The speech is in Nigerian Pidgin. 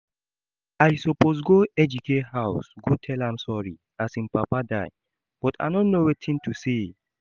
I suppose go Ejike house go tell am sorry as im papa die but I no know wetin to say